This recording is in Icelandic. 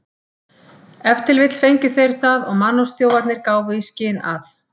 Ef til vill fengu þeir það og mannorðsþjófarnir gáfu í skyn að